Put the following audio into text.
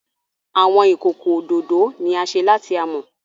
Awọn ikoko ododo ni a ṣe lati amọ.